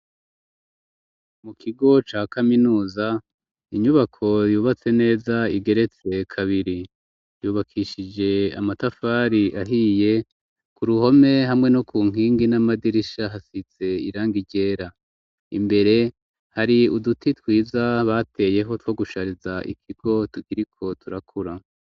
Mu kigo ca kaminuza inyubako yubatse neza igeretse kabiri, yubakishije amatafari ahiye ku ruhome hamwe no ku nkingi n'amadirisha hasize irangi ryera, imbere hari uduti twiza bateyeho two gushariza ikigo tukiriko turakura.